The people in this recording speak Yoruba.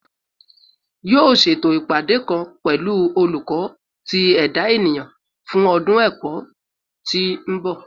Yoo ṣeto ipade kan pẹlu Oluko ti Eda Eniyan fun ọdun ẹkọ ti n bọ